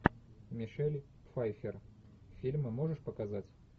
мишель пфайффер фильмы можешь показать